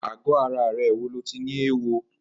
Àgọ̀ àrà rè wó ló ti ni éwó?